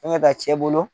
Fɛnkɛ ka ci e bolo